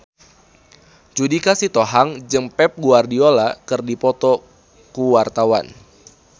Judika Sitohang jeung Pep Guardiola keur dipoto ku wartawan